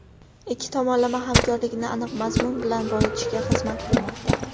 ikki tomonlama hamkorlikni aniq mazmun bilan boyitishga xizmat qilmoqda.